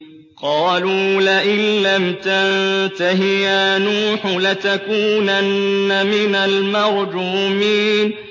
قَالُوا لَئِن لَّمْ تَنتَهِ يَا نُوحُ لَتَكُونَنَّ مِنَ الْمَرْجُومِينَ